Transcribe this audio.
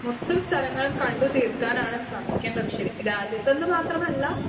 Speaker 1 മൊത്തം സ്ഥലങ്ങളും കണ്ടുതീർക്കാനാണ് ശ്രമിക്കേണ്ടത് ശരിക്കും. രാജ്യത്തെന്ന് മാത്രമല്ല